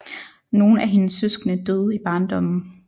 Nogle af hendes søskende døde i barndommen